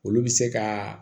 Olu bɛ se ka